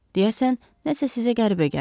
Deyəsən, nəsə sizə qəribə gəlir.